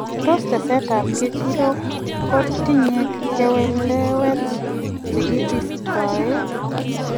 Tos teste ab ngecherok go tinye keweliwek chekibistoen.